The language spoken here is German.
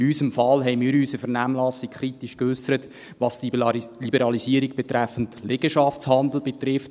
In unserem Fall haben wir uns in der Vernehmlassung kritisch geäussert, was die Liberalisierung betreffend Liegenschaftshandel betrifft.